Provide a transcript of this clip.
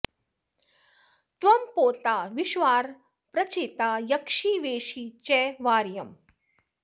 त्वं पोता॑ विश्ववार॒ प्रचे॑ता॒ यक्षि॒ वेषि॑ च॒ वार्य॑म्